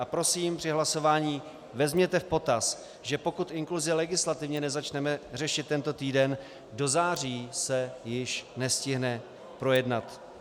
A prosím, při hlasování vezměte v potaz, že pokud inkluzi legislativně nezačneme řešit tento týden, do září se již nestihne projednat.